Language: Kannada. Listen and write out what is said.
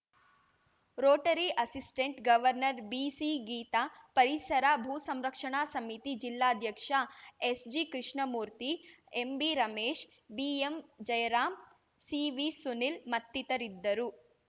ರೋಟರಿ ಅಸಿಸ್ಟೆಂಟ್‌ ಗವರ್ನರ್‌ ಬಿಸಿಗೀತಾ ಪರಿಸರ ಭೂ ಸಂರಕ್ಷಣಾ ಸಮಿತಿ ಜಿಲ್ಲಾಧ್ಯಕ್ಷ ಎಸ್‌ಜಿಕೃಷ್ಣಮೂರ್ತಿ ಎಂಬಿರಮೇಶ್‌ ಬಿಎಂಜಯರಾಂ ಸಿವಿಸುನೀಲ್‌ ಮತ್ತಿತರಿದ್ದರು